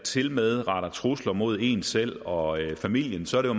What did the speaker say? tilmed retter trusler mod en selv og familien så er